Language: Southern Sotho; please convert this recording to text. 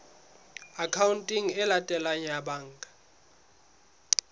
akhaonteng e latelang ya banka